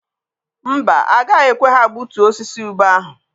Mba, agaghị ekwe ha gbutuo osisi ube ahụ.